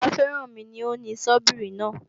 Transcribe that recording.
Bàbá Férànmi ni ó ni Sọ́bíìrì náà